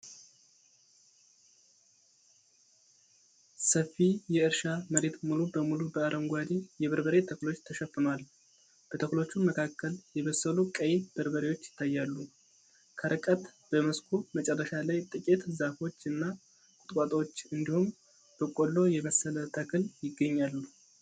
ሰፊ የእርሻ መሬት ሙሉ በሙሉ በአረንጓዴ የበርበሬ ተክሎች ተሸፍኗል። በተክሎቹ መካከል የበሰሉ ቀይ በርበሬዎች ይታያሉ። ከርቀት በመስኩ መጨረሻ ላይ ጥቂት ዛፎች እና ቁጥቋጦዎች እንዲሁም በቆሎ የመሰለ ተክል ይገኛሉ።